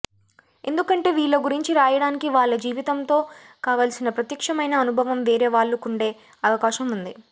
ఎందుకంటే వీళ్ళ గురించి రాయడానికి వాళ్ళ జీవితంతో కావలసిన ప్రత్యక్షమైన అనుభవం వేరే వాళ్ళకుండే అవకాశం వుంది